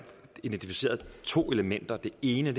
identificeret to elementer og det ene